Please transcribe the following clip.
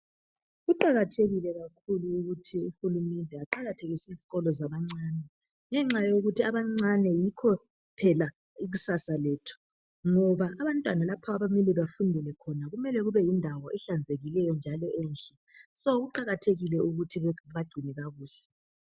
Kuqakathekile ukuthi uhulumende aqakathekise ezikolo abancane. Ngenxa yokuthi abantwana abancane yikho phela ikusasa lethu. Ngoba abantwana lapha abamele bafundele khona kumele kube yindawo ehlanzekileyo njalo enhle. So kuqakathekile ukuthi babagcine kakuhle.